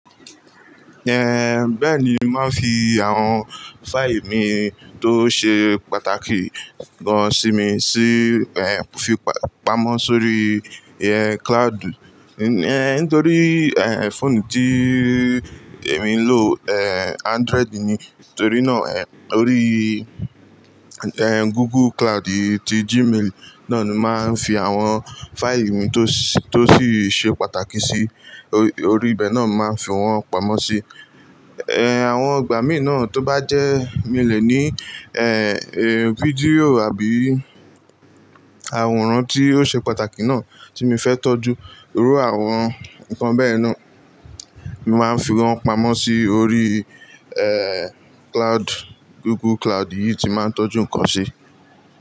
Eh, bẹ́ẹ̀ni, mo màá nfi àwọn fáìì mi tó ṣe pàtàkì gan simi sí, eh, fi pa-pamọ́ sórí, eh, cloud. Eh, nítorí, eh, fóònù tíì èmi ń lò, eh, Android ni. Nítorí náà, eh, orí, eh, Google Cloud yìí ti Gmail náà ni màá fi àwọn fáìì mi tó sì-- tó sì ṣe pàtàkì sí, orí ibẹ̀ náà màá fi wọ́n pamọ́ sí. Eh, àwọn ìgbà mìíràn tó bá jẹ́, mi ò lè ní, eh, eh, fídíò àbí àwòrán tí ó ṣe pàtàkì náà tí mi fẹ́ tọ́jú. Lórí àwọn nǹkan bẹ́ẹ̀ náà, màá fi wọ́n pamọ́ sí orí, eh, cloud, Google Cloud yìí tí màá ń tọ́jú nǹkan sí.